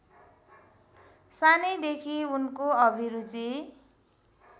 सानैदेखि उनको अभिरुचि